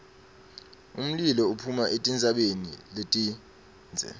umlilo uphuma etintsabeni letindze